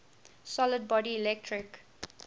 solid body electric